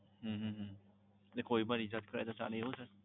હમ કોઈ પણ recharge કરાવે તો ચાલે એવું sir